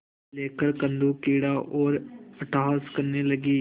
लेकर कंदुकक्रीड़ा और अट्टहास करने लगी